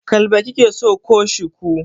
Kalba kike so ko Shiku?